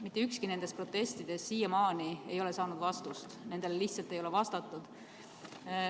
Mitte ükski nendest protestidest ei ole siiamaani saanud vastust, nendele lihtsalt ei ole vastatud.